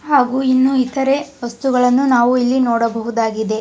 ಹಾಗು ಇನ್ನು ಇತರೆ ವಸ್ತುಗಳನು ನಾವು ಇಲ್ಲಿ ನೋಡ ಬಹುದಾಗಿದೆ.